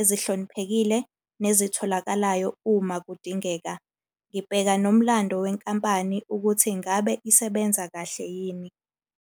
ezihloniphekile, nezitholakalayo uma kudingeka. Ngibheka nomlando wenkampani ukuthi ngabe isebenza kahle yini.